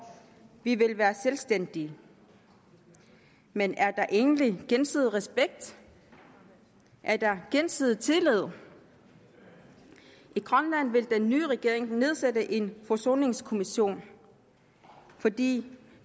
vi vil være selvstændige men er der egentlig gensidig respekt er der gensidig tillid i grønland vil den nye regering nedsætte en forsoningskommission fordi